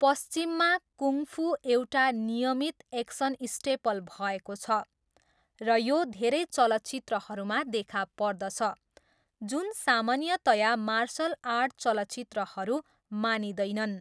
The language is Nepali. पश्चिममा, कुङ फू एउटा नियमित एक्सन स्टेपल भएको छ, र यो धेरै चलचित्रहरूमा देखा पर्दछ जुन सामान्यतया मार्सल आर्ट चलचित्रहरू मानिँदैनन्।